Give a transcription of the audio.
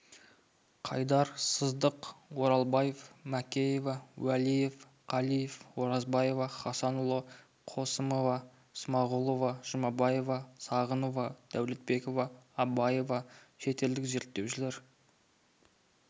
қайдар сыздық оралбаева манкеева уәлиев қалиев оразбаева хасанұлы қосымова смағұлова жұбаева сағынова дәулетбекова абаева шетелдік зерттеушілер